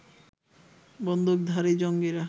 বন্দুকধারী জঙ্গিরা